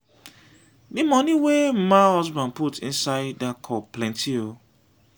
the money wey mma husband put inside dat cup plenty oo.